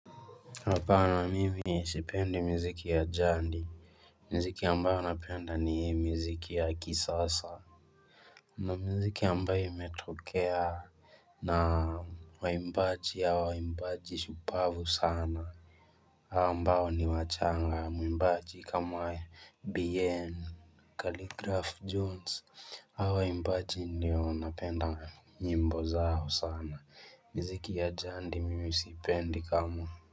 Hapana mimi sipendi miziki ya jandi Mziki ambayo napenda ni hii miziki ya kisasa na mziki ambayo imetokea na waimbaji ya waimbaji shupavu sana hawa ambao ni wachanga mwimbaji kama Bien khaligraph Jones hawa waimbaji ndio napenda nyimbo zao sana miziki ya jandi mimi siipendi kama.